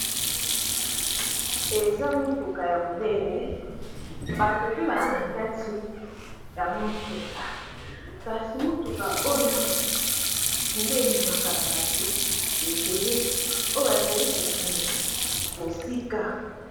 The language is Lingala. Eza motuka ya monene bato pe baza na kati ya motuka, kasi motuka oyo nde ememaka bato ebele oyo bazali ko kende mosika.